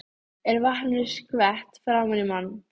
Er vatninu skvett framan í mann.